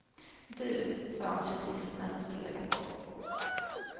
Du, sa han precis när hon skulle lägga på.